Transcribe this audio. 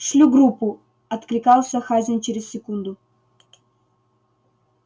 шлю группу откликался хазин через секунду